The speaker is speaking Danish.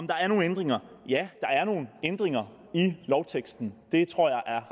der nogen ændringer ja der er nogle ændringer i lovteksten det tror jeg er